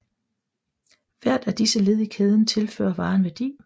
Hvert af disse led i kæden tilfører varen værdi